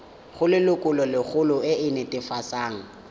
go lelokolegolo e e netefatsang